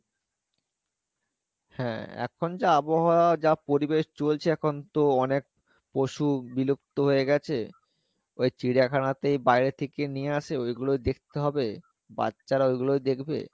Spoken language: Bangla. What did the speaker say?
হ্যাঁ এখন যা আবহাওয়া যা পরিবেশ চলছে এখন তো অনেক পশু বিলুপ্ত হয়ে গেছে ওই চিড়িয়াখানা তেই বাইরে থেকে নিয়ে আসে ওইগুলো দেখতে হবে বাচ্চারা ওইগুলোই দেখবে,